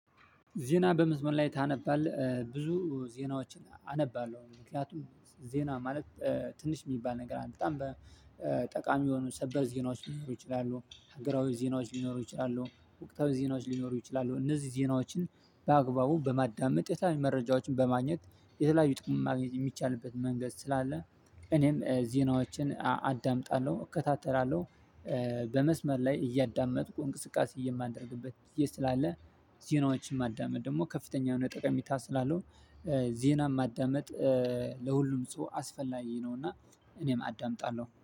ዜና በመስመር ላይ ታነባለህ ብዙ ዜናዎችን? አነባለሁ ምክንያቱም ዜና ማለት ትንሽ የሚባል ነገር አለ። በጣም ጠቃሚ የሆኑ ሰበር ዜናዎች ሊኖሩ ይችላሉ ሀገራዊ ዜናዎች ሊኖሩ ይችላሉ ወቅታዊ ዜናዎች ሊኖሩ ይችላሉ። እነዚህ ዜናዎችን በአግባቡ በማዳመጥ የተለያዩ መረጃዎችን በማግኘት የተለያዩ ጥቅም ማግኘት የሚቻልበት መንገድ ስላለ እኔም ዜናዎችን አዳምጣለሁ እከታተላለሁ። በመስመር ላይ እያዳመጥኩ እንቅስቃሴ የማደርግበት ጊዜ ስላለ ዜናዎችን ማዳመጥ ደግሞ ከፍተኛ የሆነ ጠቀሜታ ስላለው። ዜናን ማዳመጥ ለሁሉም ሰው አስፈላጊ ነው። እና እኔም አዳምጣለሁ